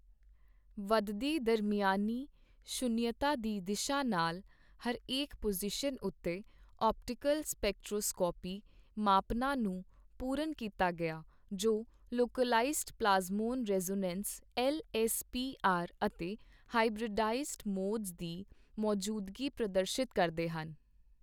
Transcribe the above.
ਵੱਧਦੀ ਦਰਮਿਆਨੀ ਸ਼ੂਨਯਤਾ ਦੀ ਦਿਸ਼ਾ ਨਾਲ ਹਰੇਕ ਪੁਜ਼ੀਸ਼ਨ ਉੱਤੇ ਆਪਟੀਕਲ ਸਪੈਕਟ੍ਰੋਸਕੋਪੀ ਮਾਪਨਾਂ ਨੂੰ ਪੂਰਨ ਕੀਤਾ ਗਿਆ, ਜੋ localised plasmon resonance L S P R ਅਤੇ ਹਾਈਬ੍ਰਿਡਾਈਜ਼ਡ ਮੋਡਜ਼ ਦੀ ਮੌਜੂਦਗੀ ਪ੍ਰਦਰਸ਼ਿਤ ਕਰਦੇ ਹਨ।